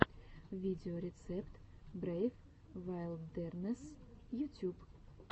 видеорецепт брейв вайлдернесс ютюб